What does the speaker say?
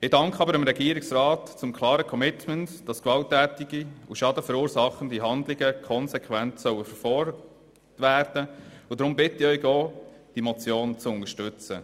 – Ich danke dem Regierungsrat zum klaren Commitment, dass gewalttätige und schadenverursachende Handlungen konsequent verfolgt werden sollen, und deshalb bitte ich Sie, diese Motion auch zu unterstützen.